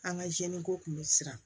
An ka ko kun bɛ siran